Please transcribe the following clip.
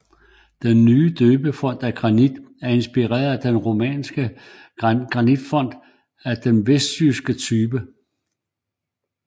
Den nye døbefont af granit er inspireret af en romansk granitfont af den vestjyske type